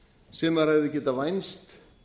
sem maður hefði getað vænst